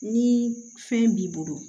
Ni fɛn b'i bolo